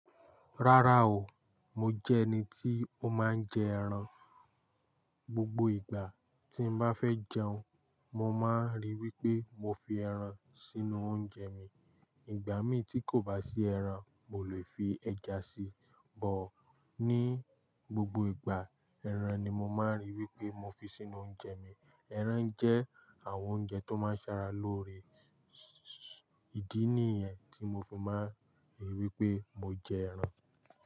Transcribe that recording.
Rárá o, mo jẹ́ ẹni tí ó máa ń jẹ ẹran. Gbogbo ìgbà tí mo bá fẹ́ jẹun, mo máa ń ríi wí pé mo fi ẹran sínú oúnjẹ mi. Ìgbà mí tí kò bá sí ẹran, mo lè fi ẹja si, but ní gbogbo ìgbà ẹran ni mo máa ń ríi wí pé mo fi sínú oúnjẹ mi. Ẹran jẹ́ àwọn oúnjẹ tó máa ń ṣara loore. Ìdí nìyẹn tí mo fi máa ń rí pé mo jẹ ẹran.